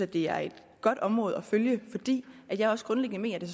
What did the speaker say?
det er et godt område at følge fordi jeg også grundlæggende mener at det